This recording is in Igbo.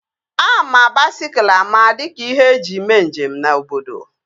Ama baisikụl ama dịka ihe eji mee njem na obodo